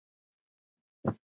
Hér eru nokkrar slíkar